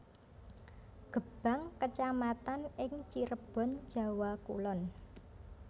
Gebang kecamatan ing Cirebon Jawa Kulon